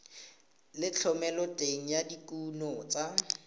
le thomeloteng ya dikuno tsa